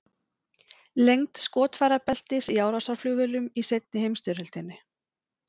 Lengd skotfærabeltis í árásarflugvélum í seinni heimsstyrjöldinni.